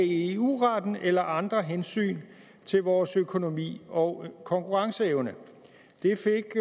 eu retten eller andre hensyn til vores økonomi og konkurrenceevne det fik